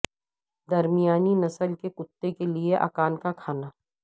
درمیانی نسل کے کتے کے لئے اکان کا کھانا